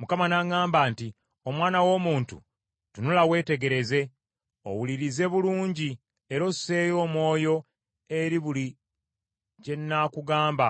Mukama n’aŋŋamba nti, “Omwana w’omuntu, tunula weetegereze, owulirize bulungi era osseeyo omwoyo eri buli kye n’akugamba